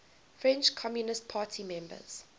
french communist party members